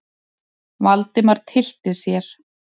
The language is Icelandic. Valdimar tyllti sér.